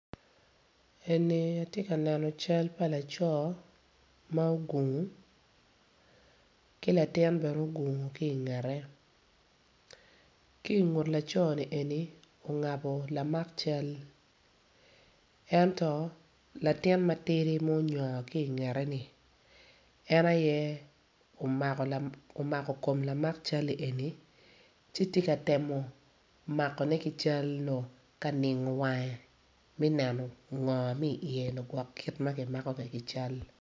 Eni atye ka neno cal pa laco ma ogungu ki latin bene ogungu ki ingete ki i ngut laco-ni ongabo lamak cal ento latin ma ongo ki i ngete-ni en aye omako kom lamak cal-li.